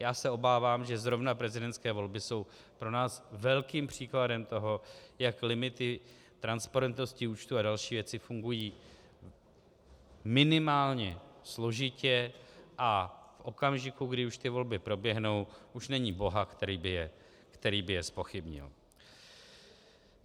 Já se obávám, že zrovna prezidentské volby jsou pro nás velkým příkladem toho, jak limity transparentnosti účtů a další věci fungují minimálně složitě a v okamžiku, kdy už ty volby proběhnou, už není boha, který by je zpochybnil.